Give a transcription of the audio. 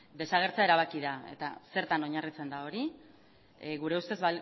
desagertzea erabaki da eta zertan oinarritzen da hori gure ustez